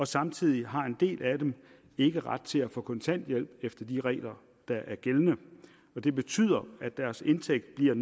samtidig har en del af dem ikke ret til at få kontanthjælp efter de regler der er gældende og det betyder at deres indtægt bliver